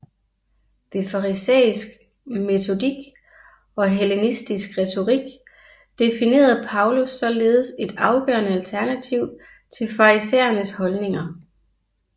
Ved farisæisk metodik og hellenistisk retorik definerede Paulus således et afgørende alternativ til farisæernes holdninger